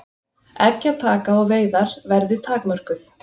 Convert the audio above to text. Eggjataka og veiðar verði takmörkuð